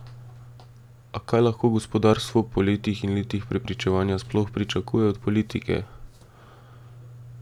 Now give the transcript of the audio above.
A kaj lahko gospodarstvo po letih in letih prepričevanja sploh pričakuje od politike?